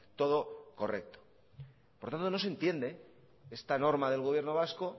todo correcto por tanto no se entiende esta norma del gobierno vasco